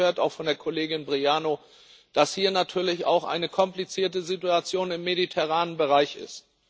Wir haben es gehört, auch von der Kollegin Briano, dass hier natürlich auch eine komplizierte Situation im mediterranen Bereich ist.